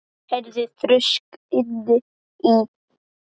Hún heyrði þrusk inni í